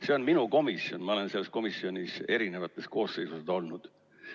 See on minu komisjon, ma olen selles komisjonis eri koosseisudes olnud.